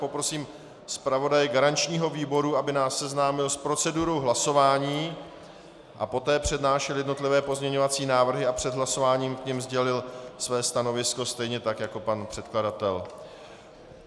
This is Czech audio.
Poprosím zpravodaje garančního výboru, aby nás seznámil s procedurou hlasování a poté přednášel jednotlivé pozměňovací návrhy a před hlasováním k nim sdělil své stanovisko stejně tak jako pan předkladatel.